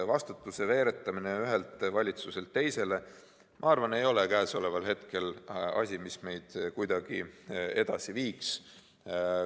Vastutuse veeretamine ühelt valitsuselt teisele ei ole minu arvates asi, mis meid praegu kuidagi edasi viiks.